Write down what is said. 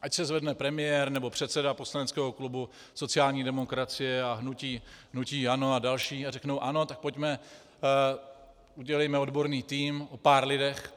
Ať se zvedne premiér nebo předseda poslaneckého klubu sociální demokracie a hnutí ANO a další a řeknou ano, tak pojďme, udělejme odborný tým o pár lidech.